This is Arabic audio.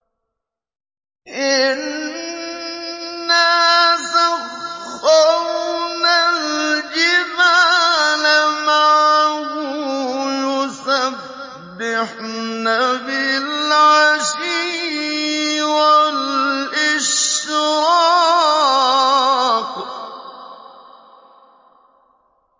إِنَّا سَخَّرْنَا الْجِبَالَ مَعَهُ يُسَبِّحْنَ بِالْعَشِيِّ وَالْإِشْرَاقِ